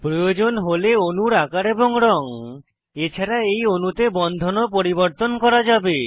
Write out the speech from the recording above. প্রয়োজন হলে অণুর আকার এবং রঙ এছাড়া এই অণুতে বন্ধনও পরিবর্তন করা যাবে